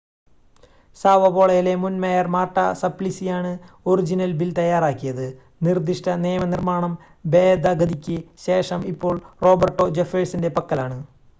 Sao പോളോയിലെ മുൻ mayor Marta സപ്ലിസിയാണ് ഒറിജിനൽ ബിൽ തയ്യാറാക്കിയത് നിർദ്ദിഷ്‌ട നിയമനിർമ്മാണം ഭേദഗതിക്ക് ശേഷം ഇപ്പോൾ റോബർട്ടോ ജെഫേഴ്സൻ്റെ പക്കലാണ്